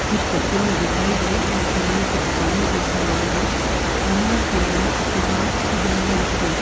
इस तस्वीर मे दिखाई गई एक किराना की दुकान है जिसका नाम है अमा किराना दुकान एण्ड जेनरल स्टोर ।